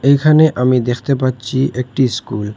এখানে আমি দেখতে পাচ্ছি একটি স্কুল ।